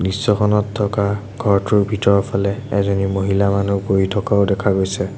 দৃশ্যখনত থকা ঘৰটোৰ ভিতৰফালে এজনী মহিলা মানুহ বহি থকাও দেখা পোৱা গৈছে।